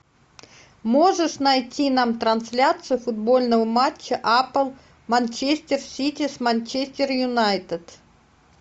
можешь найти нам трансляцию футбольного матча апл манчестер сити с манчестер юнайтед